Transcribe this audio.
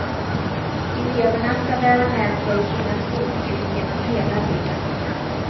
Eleverna ska bära med sig sina skolbetyg genom hela livet.